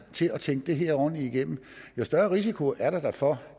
til at tænke det her ordentligt igennem jo større risiko er der da for